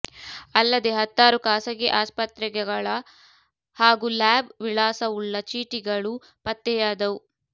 ಅಲ್ಲದೆ ಹತ್ತಾರು ಖಾಸಗಿ ಆಸ್ಪತ್ರೆಗೆಗಳ ಹಾಗೂ ಲ್ಯಾಬ್ ವಿಳಾಸವುಳ್ಳ ಚೀಟಿಗಳು ಪತ್ತೆಯಾದವು